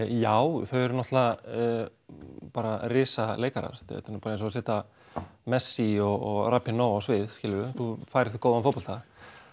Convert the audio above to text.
já þau eru náttúrulega bara risaleikarar þetta er bara eins og að setja messi og á svið skilurðu þú færð góðan fótbolta